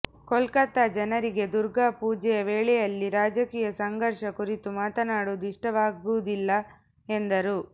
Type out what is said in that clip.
ಕೊಲ್ಕತ್ತಾ ಜನರಿಗೆ ದುರ್ಗಾ ಪೂಜೆಯ ವೇಳೆಯಲ್ಲಿ ರಾಜಕೀಯ ಸಂಘರ್ಷ ಕುರಿತು ಮಾತನಾಡುವುದು ಇಷ್ಟವಾಗುವುದಿಲ್ಲ ಎಂದರು